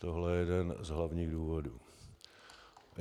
Tohle je jeden z hlavních důvodů.